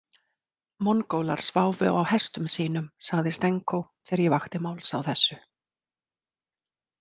Mongólar sváfu á hestum sínum, sagði Stenko þegar ég vakti máls á þessu.